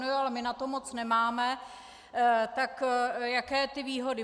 No jo, ale my na to moc nemáme, tak jaké ty výhody?